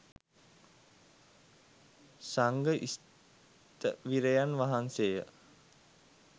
සංඝ ස්ථවිරයන් වහන්සේය.